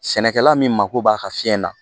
Sɛnɛkɛla min mago b'a ka fiɲɛ na